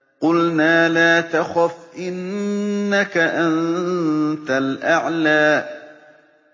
قُلْنَا لَا تَخَفْ إِنَّكَ أَنتَ الْأَعْلَىٰ